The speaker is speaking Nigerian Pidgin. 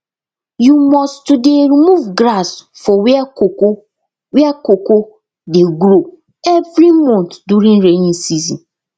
you must to dey remove grass for where cocoa where cocoa dey grow every month during rainy season